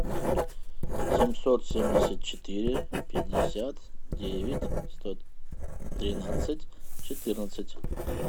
семьсот семьдесят четыре пятьдесят девять сто тринадцать четырнадцать